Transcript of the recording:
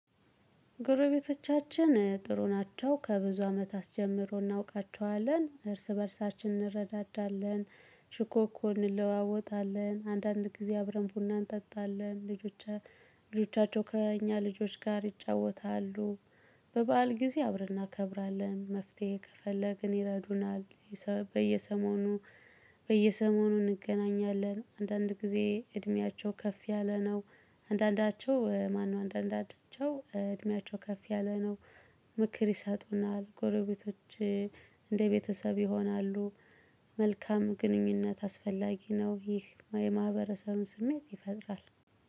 ጎረቤቶቻችን ጥሩ ናቸው ከብዙ አመታት ጀምሮ እናውቃቸዋለን እርስ በእርሳችን እንረዳዳለን። ሽኮኮ እንለዋወጣለን አንዳንድ ጊዜ አብረን ቡና እንጠጣለን ልጆቻ ልጆቻቸው ከእኛ ልጆች ጋር ይጫወታሉ። በበዓል ጊዜ አብረን እናከብራለን መፍትሄ ከፈለግን ይረዱናል። በየሰሞኑ በየሰሞኑ እንገናኛለን። አንዳንድ ጊዜ እድሜያቸው ከፍ ያለ ነው። አንዳንዳቸው ማነው? አንዳንዳቸው እድሜያቸው ከፍ ያለ ነው። ምክር ይሰጡናል። ጎረቤቶች እንደ ቤተሰብ ይሆናሉ። መልካም ግንኙነት አስፈላጊ ነው። ይህ የማኅበረሰቡን ስሜት ይፈጥራል።